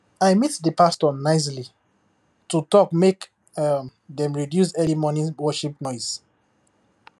i meet the pastor nicely to talk make um dem reduce early morning worship noise